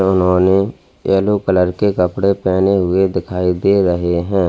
उन्होंने yellow colour के कपड़े पहने हुए दिखाई दे रहे हैं।